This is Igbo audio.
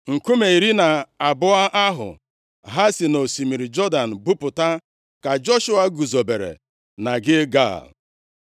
Nkume iri na abụọ ahụ ha si nʼosimiri Jọdan buputa, ka Joshua guzobere na Gilgal.